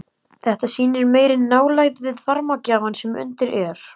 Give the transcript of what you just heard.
Þetta sýnir meiri nálægð við varmagjafann sem undir er.